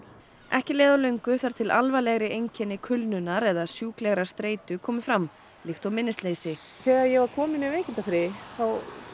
ekki leið á löngu þar til alvarlegri einkenni kulnunar eða sjúklegrar streitu komu fram líkt og minnisleysi þegar ég var komin í veikindafrí þá